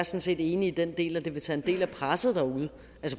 set enig i den del at det vil tage en del af presset derude